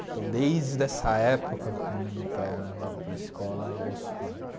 Então, desde essa época, quando meu pai me levava para a escola, eu ouço rádio.